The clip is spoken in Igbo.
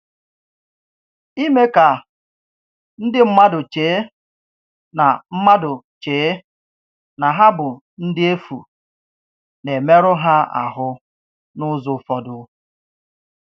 Ìme kà ndí mmádụ chee na mmádụ chee na hà bụ ndị efù na-emerụ ha áhù n'ụzọ ụfọdụ.